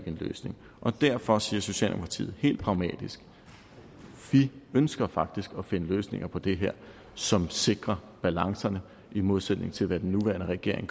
en løsning derfor siger socialdemokratiet helt pragmatisk vi ønsker faktisk at finde løsninger på det her som sikrer balancerne i modsætning til hvad den nuværende regering